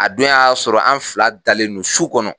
A don y'a sɔrɔ an fila dalen no su kɔnɔ